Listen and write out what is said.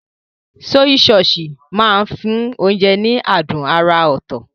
Sọ́yí sọọ̀sì máa ń fún oúnjẹ ní adùn àrà ọ̀tọ̀.